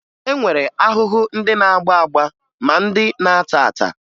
E nwere ahụhụ ndị na-agba agba ma ndị na-ata ata